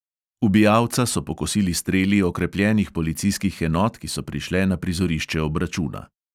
Ubijalca so pokosili streli okrepljenih policijskih enot, ki so prišle na prizorišče obračuna.